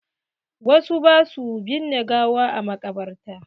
Wasu ba sua binne gawa a maƙabarta.